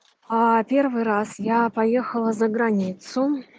аа первый раз я поехала за границу